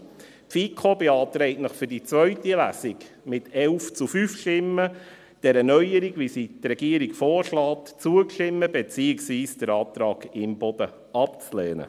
Die FiKo beantragt Ihnen für die zweite Lesung, mit 11 zu 5 Stimmen, dieser Neuerung, wie sie die Regierung vorschlägt, zuzustimmen, beziehungsweise den Antrag Imboden abzulehnen.